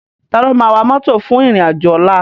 Táló má wá mòtó fún irin ájò òlà?